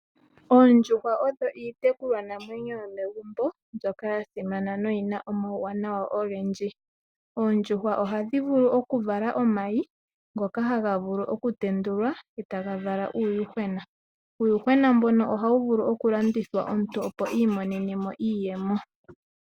Oondjuhwa odho iitekululwa namwenyo yomegumbo mbyoka yasimana noyina omauwanawa ogendji. Oondjuhwa ohadhi vulu okuvala omayi ngoka haga vulu okutendulwa etaga vala uuyuhwena, uuyuhwena mbono ohawu vulu okulandithwa omuntu opo iimonenemo iiyemo.